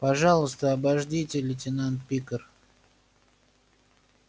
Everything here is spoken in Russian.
пожалуйста обождите лейтенант пикар